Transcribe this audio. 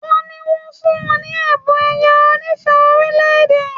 Ade ní wón fún ní Ẹ̀bùn ẹ̀yẹ onífẹ̀ẹ́ orílẹ̀-èdè